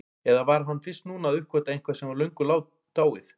Eða var hann fyrst núna að uppgötva eitthvað sem var löngu dáið?